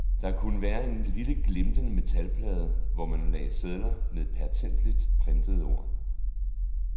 Der kunne være en lille glimtende metalplade, hvor man lagde sedler med pertentligt prentede ord.